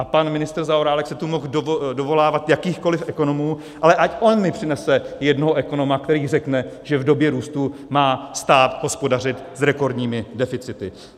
A pan ministr Zaorálek se tu mohl dovolávat jakýchkoli ekonomů, ale ať on mi přinese jednoho ekonoma, který řekne, že v době růstu má stát hospodařit s rekordními deficity.